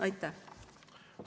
Aitäh!